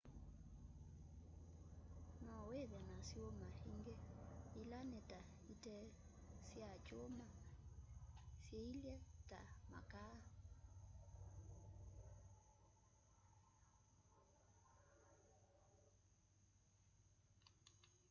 no withe na syuma ingi ila ni ta ite sya kyuma syiilye ta makaa